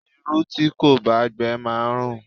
Irú tí kò bá gbe máa ń rùn.